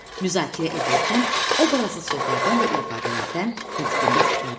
Müzakirə edərkən obrazlı sözlərdən və ifadələrdən nitqində istifadə elə.